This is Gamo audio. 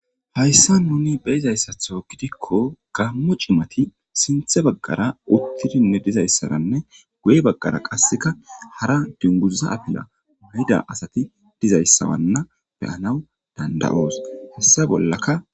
Hayssa nuni beyizayssatho gidikko gammu cimati sinthe baggara uttidinne dizayssaranne guye baggara qasseka hara dinguza afila muhida asati dizayssawanna beyanaw dandayoos hessa bollaka.